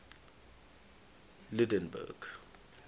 lydenburg